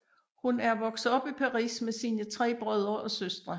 Hun er vokset op i Paris med sine tre brødre og søstre